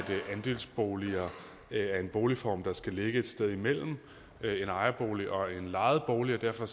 andelsboliger er en boligform der skal ligge et sted imellem en ejerbolig og en lejebolig og derfor